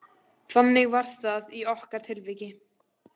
Þannig var það í okkar tilviki.